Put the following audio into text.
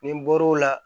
Ni n bɔr'o la